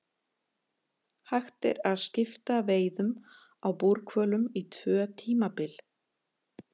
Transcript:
Hægt er að skipta veiðum á búrhvölum í tvö tímabil.